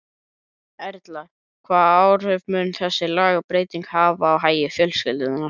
Erla, hvað áhrif mun þessi lagabreyting hafa á hagi fjölskyldunnar?